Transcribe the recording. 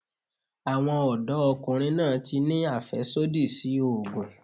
Àwọn ọ̀dọ́ ọkùnrin náà tí ni àfẹ́sódì sí ògùn.